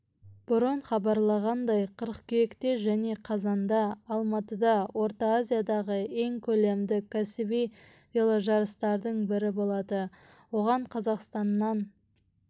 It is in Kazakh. бұрын хабарланғандай қыркүйекте және қазанда алматыда орта азиядағы ең көлемді кәсіби веложарыстардың бірі болады оған қазақстаннан